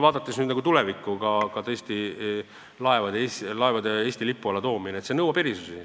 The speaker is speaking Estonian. Vaadates nüüd tulevikku, tõesti, ka näiteks laevade Eesti lipu alla toomine nõuab erisusi.